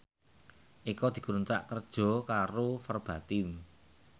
Eko dikontrak kerja karo Verbatim